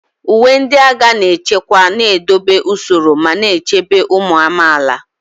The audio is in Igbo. Uwe ndị agha na nchekwa na-edobe usoro ma na-echebe ụmụ amaala.